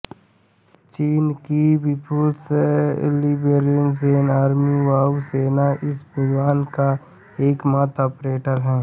चीन की People's Liberation Army वायु सेना इस विमान का एकमात्र ऑपरेटर है